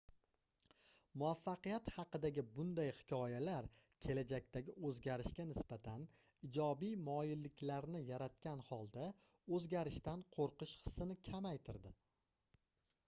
muvaffaqiyat haqidagi bunday hikoyalar kelajakdagi oʻzgarishga nisbatan ijobiy moyilliklarni yaratgan holda oʻzgarishdan qoʻrqish hissini kamaytirdi